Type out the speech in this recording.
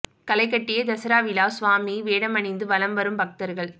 களை கட்டிய தசரா விழா சுவாமி வேடமணிந்து வலம் வரும் பக்தர்கள்